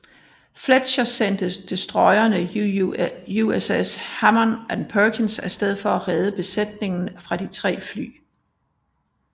Fletcher sendte destroyerne USS Hammann og Perkins af sted for at redde besætningerne fra de tre fly